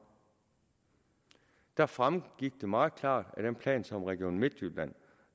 der fremgik det meget klart af den plan som region midtjylland